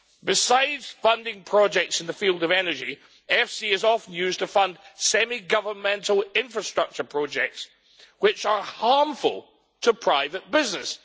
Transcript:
Besides funding projects in the field of energy, EFSI is often used to fund semi governmental infrastructure projects which are harmful to private business.